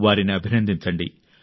వారిని అభినందించండి